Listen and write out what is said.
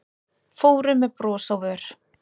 Fóru með bros á vör